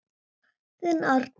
Þinn Arnar.